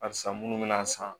A san munnu mi na san